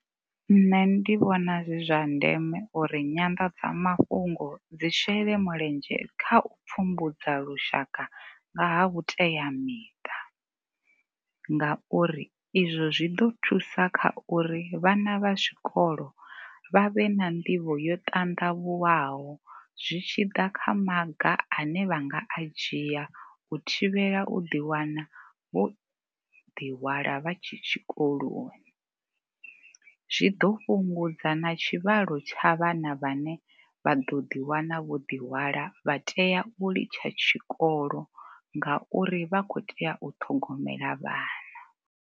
Nṋe ndi vhona zwi zwa ndeme uri nyanḓadzamafhungo dzi shele mulenzhe kha u pfhumbudza lushaka nga ha vhuteamiṱa ngauri izwo zwi ḓo thusa kha uri vhana vha tshikolo vha vhe na nḓivho yo ṱandavhuwaho zwi tshi ḓa kha maga ane vha nga a dzhia u thivhela u ḓi wana vho ḓi hwala vha tshe tshikoloni. Zwi ḓo fhungudza na tshivhalo tsha vhana vhane vha ḓo ḓi wana vho ḓi hwala vha tea u litsha tshikolo ngauri vha khou tea u ṱhogomela vhana.